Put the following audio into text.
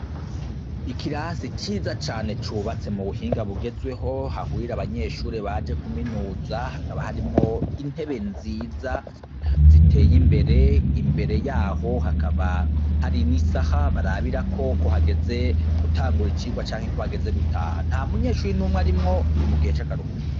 Ikirasi ciza cane cubatse mu buhinga bugezweho hahurira abanyeshuri baje kuminuza hakaba harimwo intebe nziza ziteye imbere imbere yaho hakaba hari n'isaha barabirako ko hageze gutangura icirwa canke ko hageze gutaha nta munyeshuri numwe arimwo ni mugihe cakaruhuko